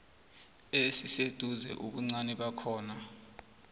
esiseduze ubuncani bakhona